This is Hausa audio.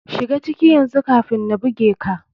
Shiga ciki yanzu kafin na buge ka.